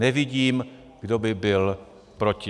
Nevidím, kdo by byl proti.